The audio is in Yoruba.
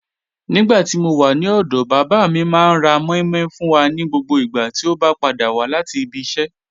Nígbàtí mó wà ní ọdọ bàbá mi, máa ní rá mòí mòí fún wà ní gbogbo ìgbà tí o bá padà wà láti ìbí ìṣẹ.